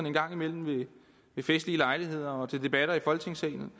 en gang imellem ved festlige lejligheder og til debatter i folketingssalen